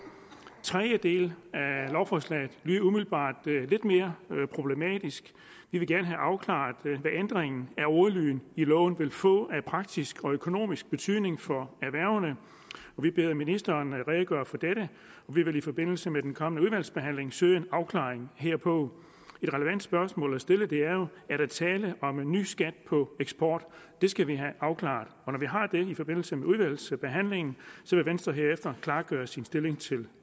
tredje del af lovforslaget lyder umiddelbart lidt mere problematisk vi vil gerne have afklaret hvad ændringen af ordlyden i loven vil få af praktisk og økonomisk betydning for erhvervene og vi beder ministeren redegøre for dette og vi vil i forbindelse med den kommende udvalgsbehandling søge en afklaring herpå et relevant spørgsmål at stille er jo er der tale om en ny skat på eksport det skal vi have afklaret når vi har fået det i forbindelse med udvalgsbehandlingen vil venstre herefter klargøre sin stilling til